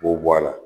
K'o bɔ a la